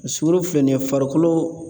Sukoro filɛ nin ye farikolo